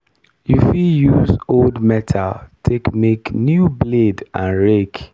you fit use old metal take make new blade and rake.